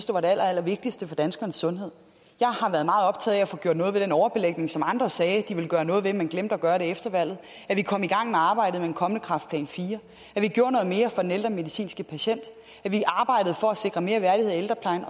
var det allerallervigtigste for danskernes sundhed jeg har været meget optaget af at få gjort noget ved den overbelægning som andre sagde de ville gøre noget ved men glemte at gøre efter valget at vi kom i gang med arbejdet med en kommende kræftplan iv at vi gjorde noget mere for den ældre medicinske patient at vi arbejdede for at sikre mere værdighed i ældreplejen